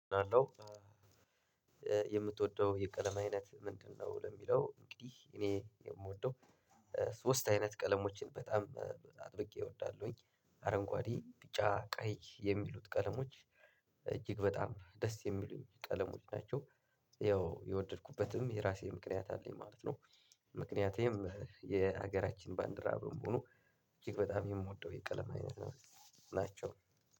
አለው የምትወደው የቀለም አይነት ምንድነው? ለሚለው እንግዲህ እኔ የምወደው ሶስት አይነት ቀለሞችን በጣም አጥብቄ እወዳለሁኝ። አረንጓዴ ቢጫ ቀይ የሚሉት ቀለሞች እጅግ በጣም ደስ የሚሉኝ ቀለሞች ናቸው። ያው የወደድኩበትም የራሴ ምክንያት አለኝ ማለት ነው። ምክንያቴም የሀገራችን ባንዲራ በመሆኑ እጅግ በጣም የምወደው የቀለም አይነት ናቸው።